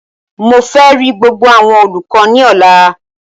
Mo fẹ ri gbogbo awọn olukọ ni ọla!